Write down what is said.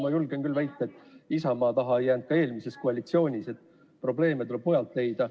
Ma julgen küll väita, et Isamaa taha see eelmises koalitsioonis ei jäänud, probleeme tuleb mujalt leida.